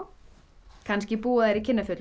kannski búa þær í